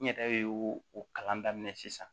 N yɛrɛ ye o kalan daminɛ sisan